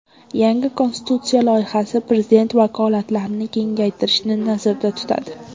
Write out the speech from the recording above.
Yangi konstitutsiya loyihasi prezident vakolatlarini kengaytirishni nazarda tutadi.